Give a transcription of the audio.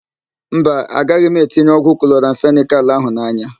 Mba, agaghị m etinye ọgwụ kloramfenịkal ahụ n'anya.